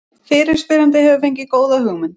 Fyrirspyrjandi hefur fengið góða hugmynd.